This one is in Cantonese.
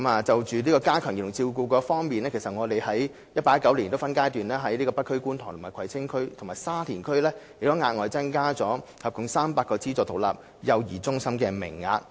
就加強幼兒照顧服務方面，我們將在 2018-2019 年度起分階段在北區、觀塘區、葵青區和沙田區額外增加合共約300個資助獨立幼兒中心名額。